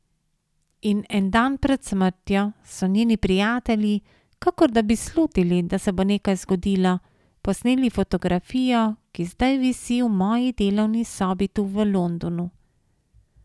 In en dan pred smrtjo so njeni prijatelji, kakor da bi slutili, da se bo nekaj zgodilo, posneli fotografijo, ki zdaj visi v moji delovni sobi tu v Londonu.